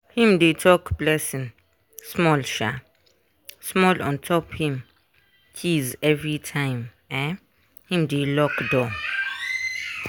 him dey talk blessing small um small on top him keys everytime um him dey lock door.